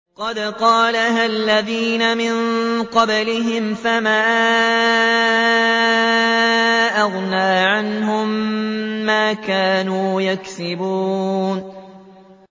قَدْ قَالَهَا الَّذِينَ مِن قَبْلِهِمْ فَمَا أَغْنَىٰ عَنْهُم مَّا كَانُوا يَكْسِبُونَ